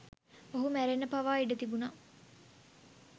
ඔහු මැරෙන්න පවා ඉඩ තිබුනා